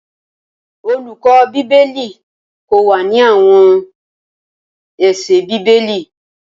Olùkọ́ Bíbélì kó wá ní àwọn ẹsẹ Bíbélì